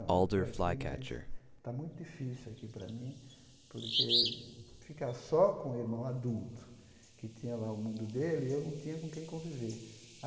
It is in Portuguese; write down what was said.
Eu estou aqui, mas está muito difícil aqui para mim, porque ficar só com o irmão adulto, que tinha lá o mundo dele e eu não tinha com quem conviver.